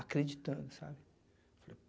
Acreditando, sabe?